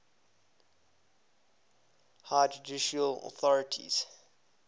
highest judicial authority